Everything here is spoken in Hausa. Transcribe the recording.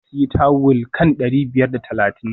Ya sayi tawul kan dari biyar da talatin